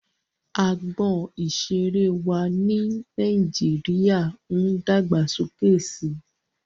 Agbọn ìseré wa ni Nàíjíríà ń dàgbà sókè si.